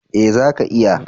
Eh zaka iya.